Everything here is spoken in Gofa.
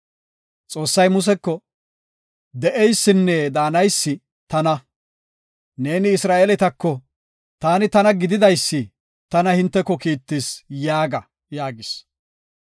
“Xoossay Museko, ‘De7eysinne daanaysi, Tana’ neeni Isra7eeletako, ‘TAANI TANA GIDIDAYSI’ tana hinteko kiittis yaaga” yaagis.